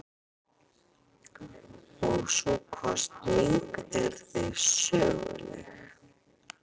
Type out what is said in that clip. Og sú kosning yrði söguleg.